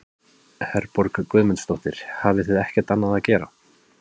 Herborg Guðmundsdóttir: Hafið þið ekkert annað að gera?